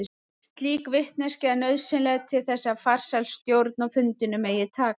Slík vitneskja er nauðsynleg til þess að farsæl stjórn á fundinum megi takast.